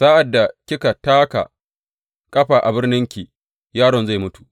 Sa’ad da kika taka ƙafa a birninki, yaron zai mutu.